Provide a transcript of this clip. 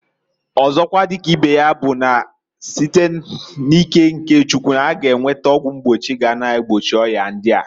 Ọzokwa di ka ibe ya bu na site n'ike nke Chukwu, a ga enweta ọgwụ mgbochi ga na-egbochi oya ndia.